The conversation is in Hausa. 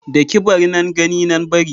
Daki-bari, nan gani nan bari